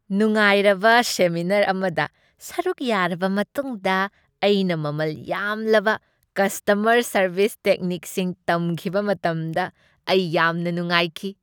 ꯅꯨꯡꯉꯥꯏꯔꯕ ꯁꯦꯃꯤꯅꯥꯔ ꯑꯃꯗ ꯁꯔꯨꯛ ꯌꯥꯔꯕ ꯃꯇꯨꯡꯗ, ꯑꯩꯅ ꯃꯃꯜ ꯌꯥꯝꯂꯕ ꯀꯁꯇꯃꯔ ꯁꯔꯕꯤꯁ ꯇꯦꯛꯅꯤꯛꯁꯤꯡ ꯇꯝꯈꯤꯕ ꯃꯇꯝꯗ ꯑꯩ ꯌꯥꯝꯅ ꯅꯨꯡꯉꯥꯏꯈꯤ꯫